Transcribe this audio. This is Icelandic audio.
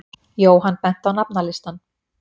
Jóhann benti á nafnalistann.